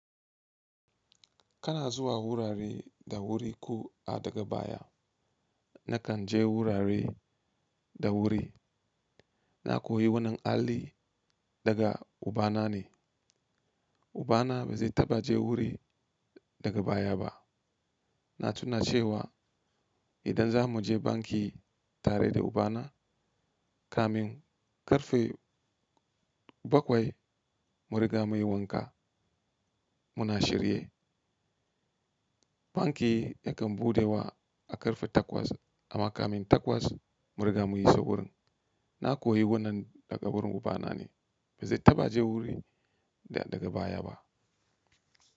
Kana zuwa wurare da wuri ko a daga baya. Nakan je wurare da wuri. Na koyi wannan halli daga ubana ne. Ubana ba zai taɓa je wuri daga baya ba. Na tuna cewa idan za mu je banki tare da ubana, kamin karfe bakwai, mun riga mun yi wanka muna shirye. Banki yakan bude wa a karfe takwas amma kamin takwas mun riga mun iso wurin. Na koyi wannan daga wurin ubana ne. Ba zai taɓa je wuri daga baya ba.